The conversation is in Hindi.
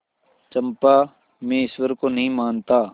चंपा मैं ईश्वर को नहीं मानता